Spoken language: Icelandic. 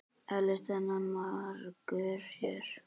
Eflaust þennan margur sér.